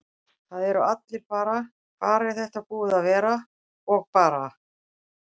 Það eru allir bara: Hvar er þetta búið að vera? og bara.